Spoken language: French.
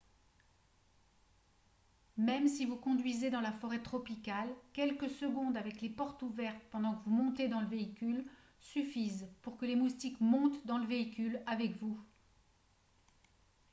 même si vous conduisez dans la forêt tropicale quelques secondes avec les portes ouvertes pendant que vous montez dans le véhicule suffisent pour que les moustiques montent dans le véhicule avec vous